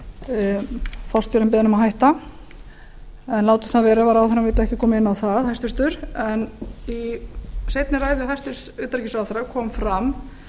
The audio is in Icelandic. beðinn um að hætta en látum það vera ef hæstvirtur ráðherra vill ekki koma inn á það í seinni ræðu hæstvirts utanríkisráðherra kom fram